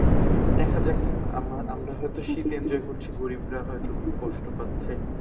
দেখা যাক আমরা আমরা হয়তো শীত enjoy করছি গরীবরা হয়তো খুব কষ্ট পাচ্ছে